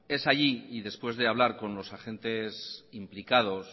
es ahí y después de hablar con los agentes implicados